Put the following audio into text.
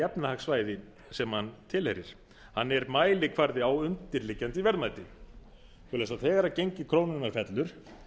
efnahagssvæði sem hann tilheyrir hann er mælikvarði á undirliggjandi verðmæti svo að þegar gengi krónunnar fellur